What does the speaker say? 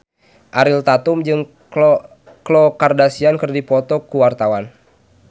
Ariel Tatum jeung Khloe Kardashian keur dipoto ku wartawan